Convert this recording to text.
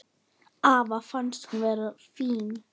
Afa fannst hún vera fín.